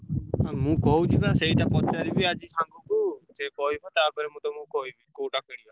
ଆଉ ମୁଁ କହୁଛି ବା ସେଇଟା ପଚାରିବି ଆଜି କୁ ସେ କହିବ ତାପରେ ମୁଁ ତମୁକୁ କହିବି। କୋଉଟା କିଣିବ।